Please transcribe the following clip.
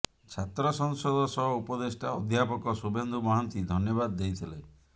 ଛାତ୍ରସଂସଦ ସହ ଉପଦେଷ୍ଟା ଅଧ୍ୟାପକ ଶୁଭେନ୍ଦୁ ମହାନ୍ତି ଧନ୍ୟବାଦ ଦେଇଥିଲେ